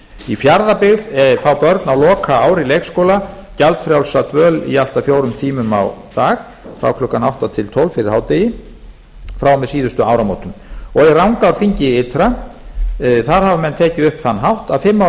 í fjarðabyggð fá börn á lokaári leikskóla gjaldfrjálsa dvöl í allt að fjórum tímum á dag frá klukkan átta til tólf fyrir hádegi frá og með síðustu áramótum í rangárþingi ytra hafa menn tekið upp þann hátt að fimm ára